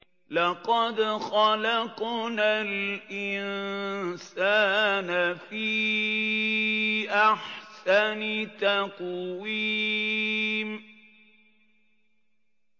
لَقَدْ خَلَقْنَا الْإِنسَانَ فِي أَحْسَنِ تَقْوِيمٍ